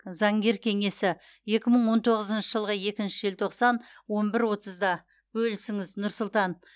заңгер кеңесі екі мың он тоғызыншы жылғы екінші желтоқсан он бір отызда бөлісіңіз нұр сұлтан